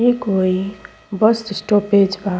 इ कोई bus stoppage बा।